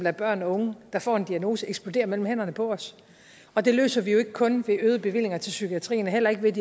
af børn og unge der får en diagnose eksploderer mellem hænderne på os og det løser vi jo ikke kun ved øgede bevillinger til psykiatrien og heller ikke ved at